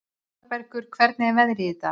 Aðalbergur, hvernig er veðrið í dag?